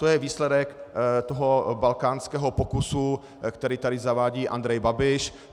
To je výsledek toho balkánského pokusu, který tady zavádí Andrej Babiš.